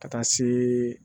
Ka taa se